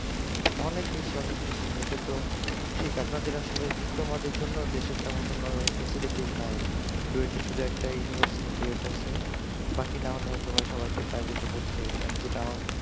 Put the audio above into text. অনেক বেশি অনেক বেশি এটা তো ঠিক আপনাদের ও আসলে ডিপ্লোমাদের জন্য দেশের তেমন কোন ফেসিলিটি নাই ডুয়েটে শুধু একটাই ইউনিভার্সিটি ডুয়েট আছে বাকি না হলে আর সবাইকে হয়তো প্রাইভেটে হয় যেটা আমার